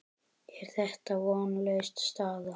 Er þetta vonlaus staða?